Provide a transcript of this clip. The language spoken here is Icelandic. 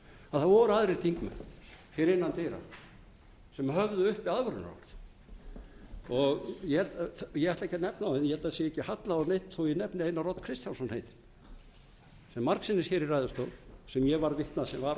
að það voru aðrir þingmenn innan dyra sem höfðu uppi aðvörunarorð ég ætla ekki að nefna þá en ég held að ekki sé hallað á neinn þó ég nefni einar odd kristjánsson heitinn sem margsinnis hér í ræðustól sem ég var vitni að sem